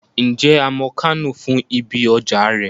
Ǹjẹ́ a mọ Kánò fún ibi ọjà rẹ̀?